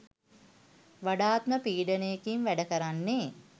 වඩාත්ම පීඩනයකින් වැඩ කරන්නේ